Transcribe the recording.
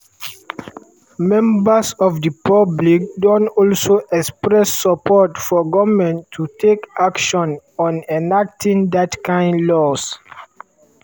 members of di public don also express support for goment to take action on enacting dat kain laws.